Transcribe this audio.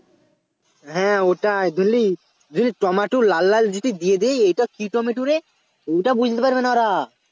হ্যাঁ ওটাই বুঝলি বুঝলি টমেটো লাল লাল যদি দিয়ে দেই এটা কি টমেটো রে ওইটা বুঝতে পারবে না ওরা